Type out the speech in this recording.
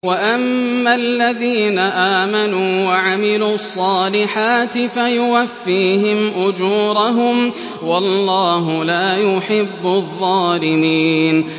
وَأَمَّا الَّذِينَ آمَنُوا وَعَمِلُوا الصَّالِحَاتِ فَيُوَفِّيهِمْ أُجُورَهُمْ ۗ وَاللَّهُ لَا يُحِبُّ الظَّالِمِينَ